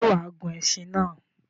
Sé wàá gun esin náà?